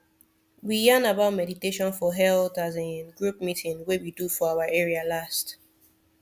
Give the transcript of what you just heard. we yarn about meditation for health as in group meeting wey we do for our area last